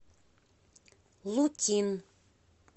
лукин